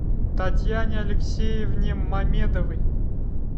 татьяне алексеевне мамедовой